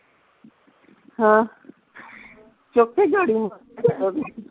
ਹਾਂ ਚੁੱਕ ਕੇ ਖੜੂ